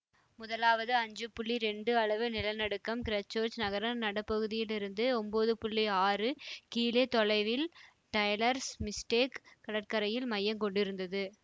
முதலாவது ஐந்து புள்ளி இரண்டு அளவு நிலநடுக்கம் கிறைஸ்ட்சேர்ச் நகர நடுப்பகுதியிலிருந்து ஒன்பது புள்ளி ஆறு கிழே தொலைவில் டெய்லர்ஸ் மிஸ்டேக் கடற்கரையில் மையங் கொண்டிருந்தது